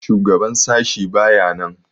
Shugaban sashi baya nan.